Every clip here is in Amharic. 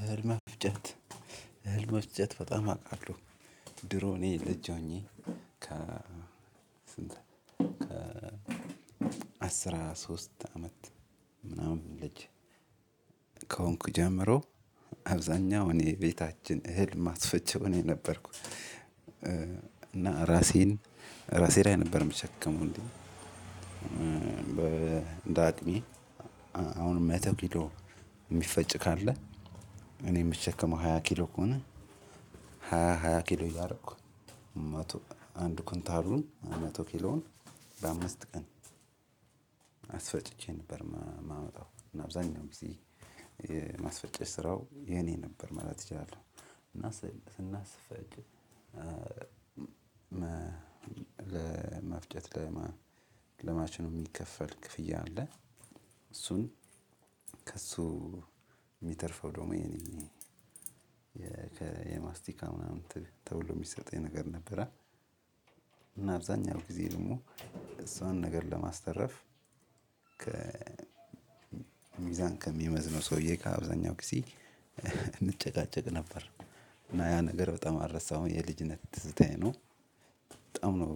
እህል መፍጨት እህል መፍጨት በጣም አውቃለሁ ድሮ እኔ ልጅ ሆኜ አስራ ሶስት አመት ምናምን ልጅ ከሆንኩ ጀምሮ አብዛኛው እኔ ቤታችን እህል ማስፈጨው እኔ ነበርኩ። እና ራሴን ራሴ ላይ ነበር ምሸከመው እንዴውም። እንደ አቅሜ አሁን መቶ ኪሎ የሚፈጭ ካለ እኔ የምሸከመው ሃያ ኪሎ ከሆነ ሃያ ሃያ ኪሎ እያደረኩ መቶ ኩንታሉን መቶ ኪሎን በአምስት ቀን አስፈጭቼ ነበር የማመጣው እና አብዛኛው ጊዜ ማስፈጨት ስራው የኔ ነበር ማለት እችላለሁ። እና ስናስፈጭ ለመፍጨት ለማሽኑ የሚከፈል ክፍያ አለ እሱን ከእሱ የሚተርፈው ደግሞ የኔ የማስቲካ ምናምን ተብሎ የሚሰጠኝ ነገር ነበረ። እና አብዛኛው ጊዜ ደግሞ እሷን ነገር ለማስተረፍ ሚዛን ከሚመዝነው ሰውዬ ከአብዛኛው ጊዜ እንጨቃጨቅ ነበር። እና ያ ነገር በጣም አልረሳሁም የልጅነት ትዝታዬ ነው። በጣም ነው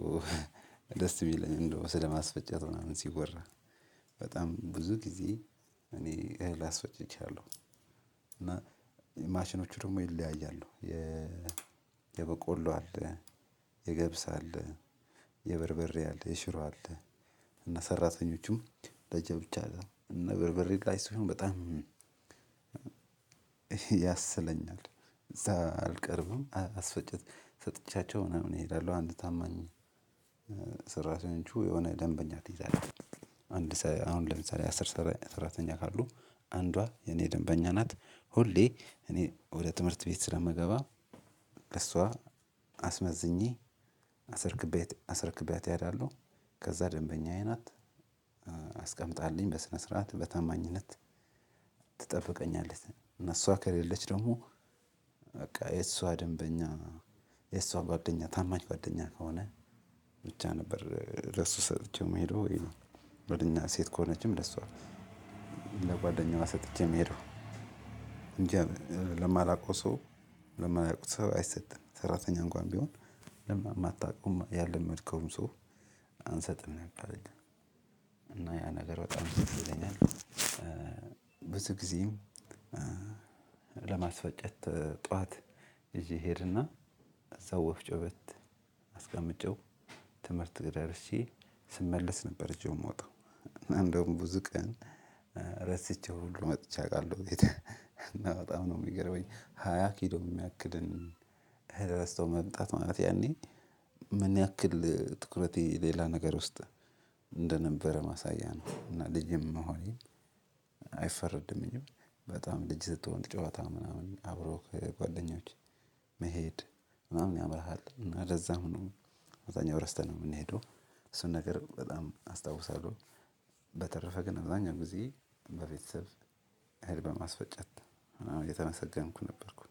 ደስ የሚለኝ እንደው ስለማስፈጨት ምናምን ሲወራ በጣም ብዙ ጊዜ እኔ እህል አስፈጭቻለሁ። እና ማሽኖች ደግሞ ይለያያሉ። የበቆሎ አለ የገብስ አለ የበርበሬ አለ የሽሮ አለ። እና ሰራተኞቹም ለየብቻ ነው እና ለበርበሬ እቃ ሲሆን በጣም ያሰለኛል። እዛ አልቀርብም አስፈጭት ሰጥቻቸው ምናምን እሄዳለሁ አንድ ታማኝ ሰራተኞቹ የሆነ ደንበኛ ትይዛለህ። አንድ አሁን ለምሳሌ አስር ሰራተኛ ካሉ አንዷ የኔ ደንበኛ ናት። ሁሌ እኔ ወደ ትምህርት ቤት ስለምገባ ከእሷ አስመዝኜ አስረክቢያት አስርክብያት እሄዳለሁ ከዛ ደንበኛዬ ናት። አስቀምጣልኝ በስነ ስርዓት በታማኝነት ትጠብቀኛለች። እና እሷ ከሌለች ደግሞ በቃ የእሷ ደንበኛ የእሷ ጓደኛ ታማኝ ጓደኛ ከሆነ። ብቻ ነበር ለሱ ሰጥቼው ምሄደው ወይ ጓደኛ ሴት ከሆነችም ለሷ ለጓደኛዋ ሰጥቼ የምሄደው እንጂ። ለማላውቀው ሰው ለማላውቀው ሰው አይሰጥም ሰራተኛ እንኳን ቢሆን። ለምን አታውቁም ያለመድከውም ሰው አንሰጥም ነበር። እና ያ ነገር በጣም ትዝ ይለኛል። ብዙ ጊዜም ለማስፈጨት ጠዋት ይዥ እየሄደና እዛው ወፍጮ ቤት አስቀምጨው ትምህርት ቤት ደርሼ ስመለስ ነበር። እጄው የምወጣው እና እንደውም ብዙ ቀን ረስቼው ሁሉ መጥቼ አውቃለሁ ቤት በጣም ነው የሚገርመኝ። ሃያ ኪሎ የሚያክልን ረስቶ መምጣት ማለት ያኔ ምን ያክል ትኩረቴ ሌላ ነገር ውስጥ እንደነበረ ማሳያ ነው። እና ልጅም መሆኔም መሆኔን አይፈረድም። በጣም ልጅ ስትሆን ጨዋታ ምናምን አብሮ ጓደኞቼ መሄድ ምናምን ያምርሃል እና ለዛም ነው። አብዛኛው ረስተን ነው የምንሄደው። እሱን ነገር በጣም አስታውሳለሁ። በተረፈ ግን አብዛኛው ጊዜ በቤተሰብ እህል በማስፈጨት የተመሰገንኩ ነበርኩ